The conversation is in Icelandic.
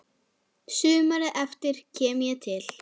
Sumarið eftir kem ég til